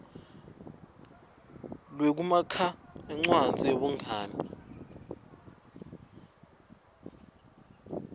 lwekumakha incwadzi yebungani